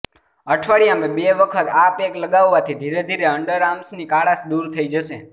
અઠવાડિયામાં બે વખત આ પેક લગાવવાથી ધીરેધીરે અંડર આર્મ્સની કાળાશ દૂર થઈ જશે